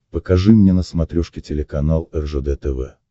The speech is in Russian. покажи мне на смотрешке телеканал ржд тв